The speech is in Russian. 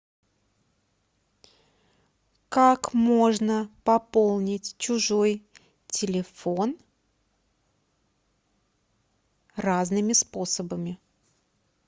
как можно пополнить чужой телефон разными способами